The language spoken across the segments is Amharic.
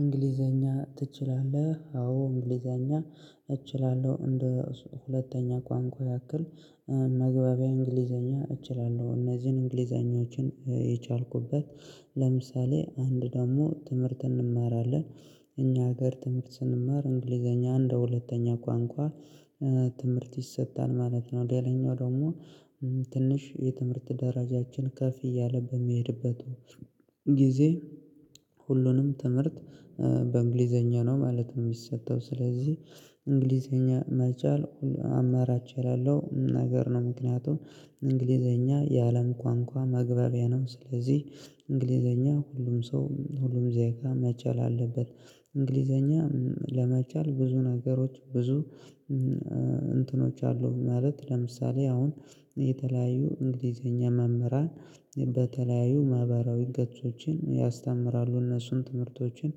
እንግሊዘኛ ትችላለህ? አዎ እንግሊዘኛ እችላለሁ እንደ ሁለተኛ ቋንቋ ያክል። መግባቢያ እንግሊዘኛ እችላለሁ እነዚህን እንግሊዘኞችን የቻልኩበት ለምሳሌ አንድ ደግሞ ትምህርት እንማራለን። እኛ ሀገር ትምህርት ስንማር እንግሊዘኛ እንደ ሁለተኛ ቋንቋ ትምህርት ይሰጣል ማለት ነው። ሌላኛው ደግሞ ትንሽ የትምህርት ደረጃችን ከፍ እያለ በሚሄድበት ጊዜ ሁሉንም ትምህርት በእንግሊዘኛ ነው ማለት ነው። የሚሰጠው ስለዚህ እንግሊዘኛ መቻል አማራጭ የሌለው ነገር ነው ምክንያቱም እንግሊዘኛ የአለም ቋንቋ መግባቢያ ነው። ስለዚህ እንግሊዘኛ ሁሉም ሰው ሁሉም ዜጋ መቻል አለበት። እንግሊዘኛ ለመቻል ብዙ ነገሮች ብዙ እንትኖች አሉ። ማለት ለምሳሌ አሁን የተለያዩ እንግሊዘኛ መምህራን በተለያዩ ማህበራዊ ገጾችን ያስተምራሉ እነሱን ትምህርቶችን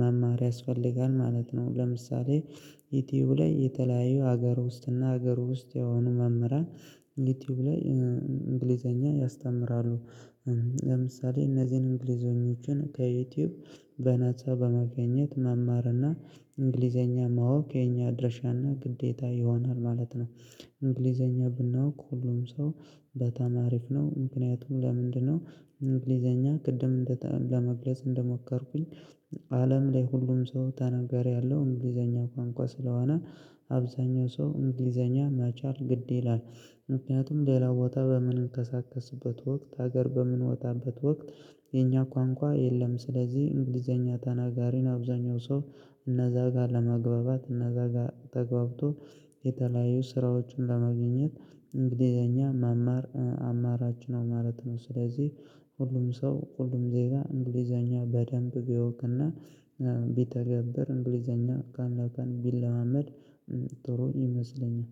መማር ያስፈልጋል ማለት ነው። ለምሳሌ ዩቲዩብ ላይ የተለያዩ ሀገር ውስጥ እና ሀገር ውስጥ የሆኑ መምህራን ዩቲዩብ ላይ እንግሊዘኛ ያስተምራሉ። ለምሳሌ እነዚህን እንግሊዞችን ከዩቲዩብ በናፃ በማግኘት መማርና እንግሊዘኛ ማወቅ የኛ አድራሻና ግዴታ ይሆናል ማለት ነው። እንግሊዘኛ ብናውቅ ሁሉም ሰው በጣም አሪፍ ነው ምክንያቱም ለምንድ ነው እንግሊዘኛ ቅድም ለመግለጽ እንደሞከርኩኝ አለም ላይ ሁሉም ሰው ተናጋሪ ያለው እንግሊዘኛ ቋንቋ ስለሆነ አብዛኛው ሰው እንግሊዘኛ መቻል ግድ ይላል። ምክንያቱም ሌላ ቦታ በምንቀሳቀስበት ወቅት ሀገር በምንወጣበት ወቅት የኛ ቋንቋ የለም። ስለዚህ እንግሊዘኛ ተናጋሪን አብዛኛው ሰው እነዛ ጋር ለመግባባት እነዛ ጋር ተግባብቶ የተለያዩ ስራዎችን ለማግኘት እንግሊዘኛ መማር አማራጭ ነው። ስለዚህ ሁሉም ሰው ሁሉም ዜጋ እንግሊዘኛ በደንብ ቢያውቅና ቢተገበር እንግሊዘኛ ከአንዳንድ ቢለማመድ ጥሩ ይመስለኛል